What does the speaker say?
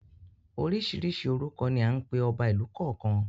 Oríṣiríṣi orúkọ ni à ń pe ọba ìlú kọ̀ọ̀kan.